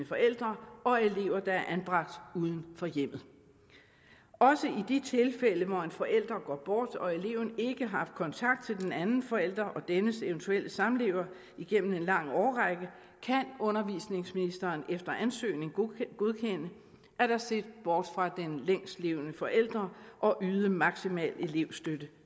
forældre og elever der er anbragt uden for hjemmet også i de tilfælde hvor en forælder går bort og eleven ikke har haft kontakt til den anden forælder og dennes eventuelle samlever igennem en lang årrække kan undervisningsministeren efter ansøgning godkende at der ses bort fra den længstlevende forælder og yde maksimal elevstøtte